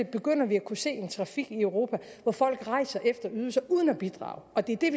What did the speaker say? begynder at kunne se en trafik i europa hvor folk rejser efter ydelser uden at bidrage det er det